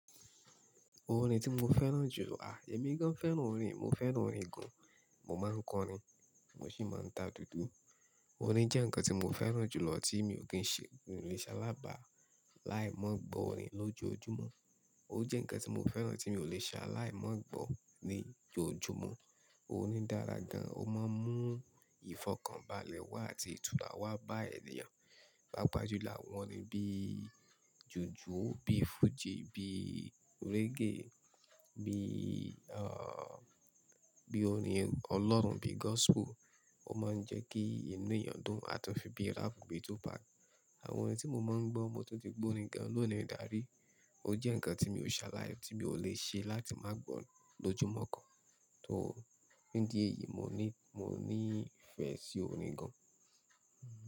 Orin tí mo fẹ́ràn jù èmi gan fẹ́ràn orin, mo fẹ́ràn orin gan. Mo máa ń kọ orin, mo sì máa ń ta dúdú. Orin jẹ́ ǹkan tí mo fẹ́ràn jù lọ tí mi ò kí n ṣe ò le ṣa lábà láì mọ̀ gbọ́ orin lójoojúmọ́. Ó jẹ́ ǹkan tí mo fẹ́ràn tí mi ò le ṣà láì mọ̀ gbọ́ ní ojoojúmọ́. Orin dára gan, ó máa ń mú ìfọ̀kànbalẹ̀ wá àti ìtúràwá bá ènìyàn. Pápá jù láwọn orin bíi jùjú, bíi fújì, bíi reggae, bíi, à, bíi orin Ọlọ́run, bíi gospel. Ó máa ń jẹ́ kí inú ènìyàn dùn, àti fun bíi rap, bíi 2pac. Àwọn orin tí mo máa ń gbọ́, mo tún ti gbọ́ orin gan lọ́nà ìdarí. Ó jẹ́ ǹkan tí mi ò ṣà láì, tí mi ò le ṣe láti má gbọ́ lójoojúmọ́ kan. So, nídi èyí mo ní, mo ní ìfẹ́ sí orin gan.